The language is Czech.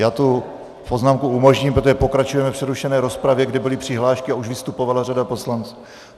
Já tu poznámku umožním, protože pokračujeme v přerušené rozpravě, kde byly přihlášky a už vystupovala řada poslanců.